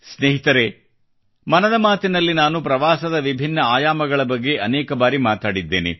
ಸ್ನೇಹಿತರೆ ಮನದ ಮಾತಿನಲ್ಲಿ ನಾನು ಪ್ರವಾಸದ ವಿಭಿನ್ನ ಆಯಾಮಗಳ ಬಗ್ಗೆ ಅನೇಕ ಬಾರಿ ಮಾತನಾಡಿದ್ದೇನೆ